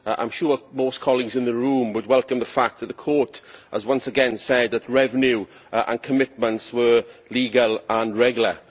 I am sure that most colleagues in the room would welcome the fact that the Court has once again said that revenue and commitments were legal and regular.